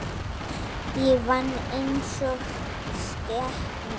Ég vann einsog skepna.